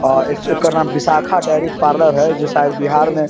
और इसी एकर नाम विशाखा डेयरी पार्लर है जो शायद बिहार में --